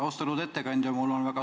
Austatud ettekandja!